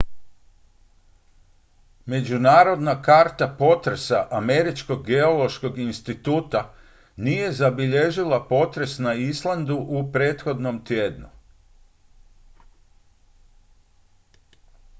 međunarodna karta potresa američkog geološkog instituta nije zabilježila potres na islandu u prethodnom tjednu